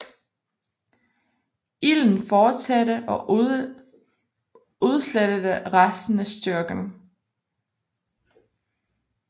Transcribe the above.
Ilden fortsatte og udslettede resten af styrken